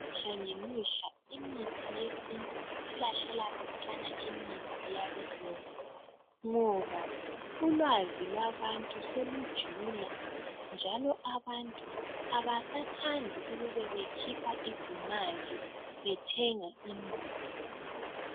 Imihla ngemihla imithi yesintu isilahlela khatshana imithi yabelungu. Ngoba ulwazi labantu selujula njalo abantu abasathandi ukukhipha izimali bethenga imithi.